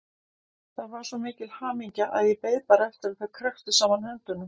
Þetta var svo mikil hamingja að ég beið bara eftir að þau kræktu saman höndunum.